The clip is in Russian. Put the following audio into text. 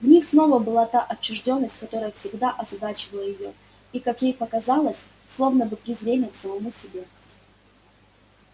в них снова была та отчуждённость которая всегда озадачивала её и как ей показалось словно бы презрение к самому себе